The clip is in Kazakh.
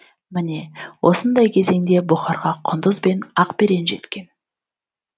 міне осындай кезеңде бұхарға құндыз бен ақберен жеткен